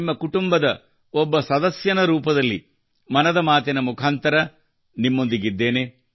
ನಿಮ್ಮ ಕುಟುಂಬದ ಓರ್ವ ಸದಸ್ಯನ ರೂಪದಲ್ಲಿ ಮನದ ಮಾತಿನ ಮುಖಾಂತರ ನಿಮ್ಮೊಂದಿಗಿದ್ದೇನೆ